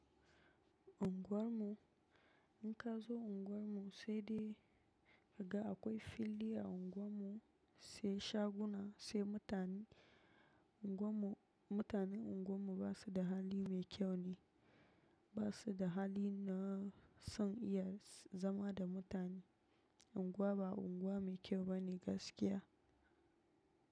Ungwar mu, in kazo unguwar mu sai dai daga akwai fili a unguwar mu sai shaguna sai mutane. Unguwar mu, mutanen unguwar mu basu da hali mai kyau ne, basu da hali na son iya zama da mutane. Unguwa ba unguwa mai kyau ba ne gaskiya.